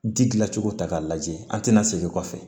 Ji dilancogo ta k'a lajɛ an tɛna segin kɔfɛ